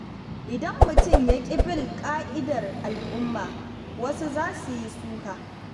Idan mutum ya ƙi bin ka’idar al’umma, wasu za su yi suka.